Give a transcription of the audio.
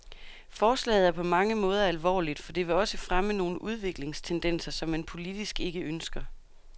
Forslaget er på mange måder alvorligt, for det vil også fremme nogle udviklingstendenser, som man politisk ikke ønsker.